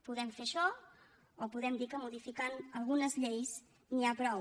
podem fer això o podem dir que modificant algunes lleis n’hi ha prou